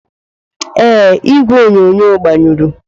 Ee, igwe onyonyo agbanyụrụ.